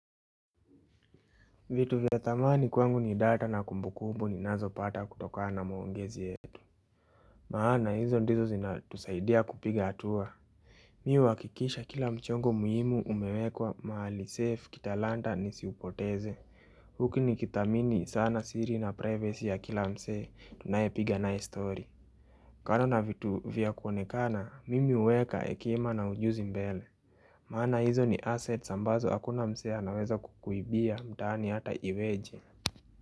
Vitu vya thamani kwangu ni data na kumbu kumbu ni nazo pata kutokana na maongezi yetu maana hizo ndizo zinatusaidia kupiga hatua Mi huhakikisha kila mchongo muhimu umewekwa mahali safe kita lanta nisiupoteze huku nikithamini sana siri na privacy ya kila mse tunaye piga naye story kando navitu vya kuonekana mimi uweka hekima na ujuzi mbele. Maana hizo ni asset ambazo hakuna mse anaweza kukuibia mtaani hata iweje.